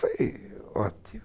Foi ótimo.